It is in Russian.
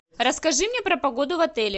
расскажи мне про погоду в отеле